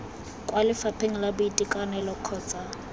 kwa lefapheng la boitekanelo kgotsa